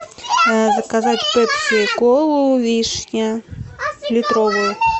заказать пепси колу вишня литровую